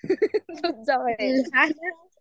हो